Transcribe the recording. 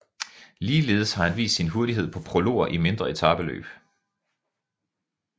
Ligeledes har han vist sin hurtighed på prologer i mindre etapeløb